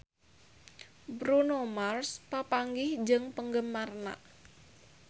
Bruno Mars papanggih jeung penggemarna